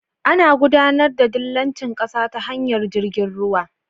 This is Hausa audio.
Ana gudAnar da dillanci ƙasa ta tashar jirgin ruwa